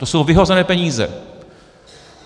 To jsou vyhozené peníze.